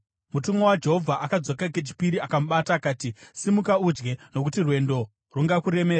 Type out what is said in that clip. Mutumwa waJehovha akadzoka kechipiri akamubata akati, “Simuka udye, nokuti rwendo rungakuremera.”